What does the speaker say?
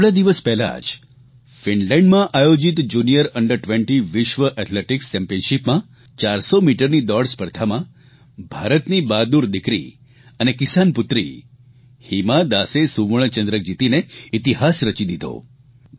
હજી થોડા દિવસ પહેલા જ ફિનલેન્ડમાં આયોજીત જુનિયર અંડર20 વિશ્વ એથ્લેટીકસ ચેમ્પીયનશીપમાં 400 મીટરની દોડ સ્પર્ધામાં ભારતની બહાદુર દિકરી અને કિસાનપુત્રી હિમા દાસે સુવર્ણચંદ્રક જીતીને ઇતિહાસ રચી દીધો